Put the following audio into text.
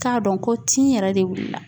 K'a dɔn ko tin yɛrɛ de wulila